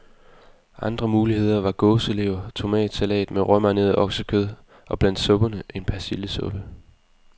Andre muligheder var gåselever, tomatsalat med råmarineret oksekød og blandt supperne, en persillesuppe.